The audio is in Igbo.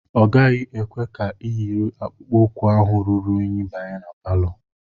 Ọ gaghị ekwe ka iyiri akpụkpọ ụkwụ ahụ ruru unyi banye ma palọ